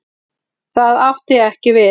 Það átti ekki við.